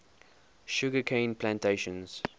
sugar cane plantations